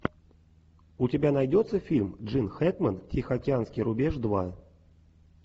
у тебя найдется фильм джин хэкмен тихоокеанский рубеж два